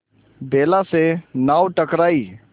बेला से नाव टकराई